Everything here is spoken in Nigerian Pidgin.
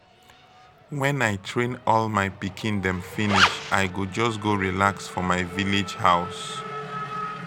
wen i train all my pikin dem finish i go just go relax for my village house.